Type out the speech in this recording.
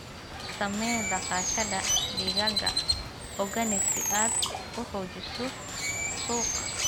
Samee dhaqashada digaaga organic si aad u xoojiso suuqa.